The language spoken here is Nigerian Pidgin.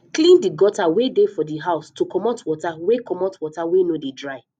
clean the gutter wey dey for di house to comot water wey comot water wey no dey dry